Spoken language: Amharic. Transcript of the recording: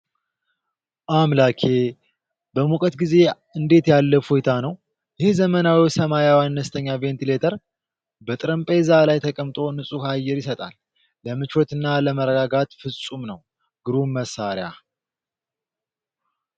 አምላኬ! በሙቀት ጊዜ እንዴት ያለ እፎይታ ነው! ይህ ዘመናዊ ሰማያዊ አነስተኛ ቬንቲሌተር! በጠረጴዛ ላይ ተቀምጦ ንጹህ አየር ይሰጣል። ለምቾትና ለመረጋጋት ፍጹም ነው! ግሩም መሣሪያ!